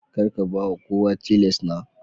Kar ka ba kowa chisel na.